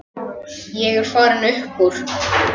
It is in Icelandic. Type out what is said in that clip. Ég er farinn upp úr.